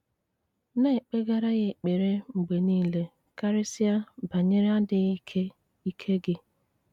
Na-ekpegara ya ekpere mgbe nile karịsịa banyere adịghị ike ike gị.